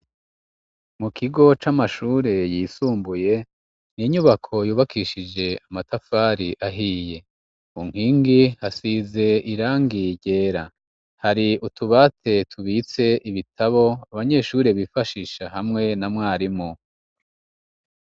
Mu kigo c'amashure yisumbuye, ni inyubako yubakishije amatafari ahiye. Ku nkingi hasize irangi ryera, hari utubati tubitse ibitabo abanyeshure bifashisha hamwe na mwarimu.